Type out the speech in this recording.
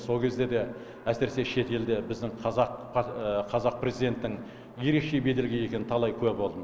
сол кезде де әсіресе шет елде біздің қазақ қазақ президенттің ерекше беделге ие екеніне талай куә болдым